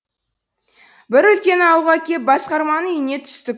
бір үлкен ауылға кеп басқарманың үйіне түстік